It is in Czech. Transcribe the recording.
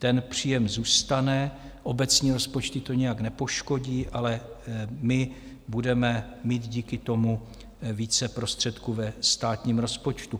Ten příjem zůstane, obecní rozpočty to nijak nepoškodí, ale my budeme mít díky tomu více prostředků ve státním rozpočtu.